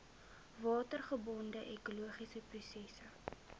watergebonde ekologiese prosesse